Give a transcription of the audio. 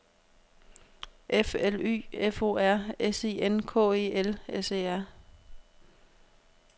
F L Y F O R S I N K E L S E R